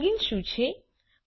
plugins શું છે